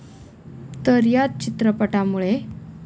तर याच चित्रपटामुळे.